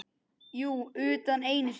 Jú, utan einu sinni.